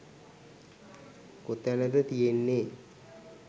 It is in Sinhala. කොතැනද තියෙන්නේ